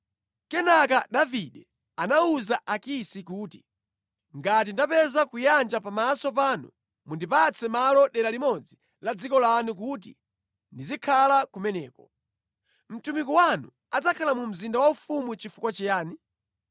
Kenaka Davide anawuza Akisi kuti, “Ngati ndapeza kuyanja pamaso panu mundipatse malo dera limodzi la dziko lanu kuti ndizikhala kumeneko. Mtumiki wanu adzakhala mu mzinda waufumu chifukwa chiyani?”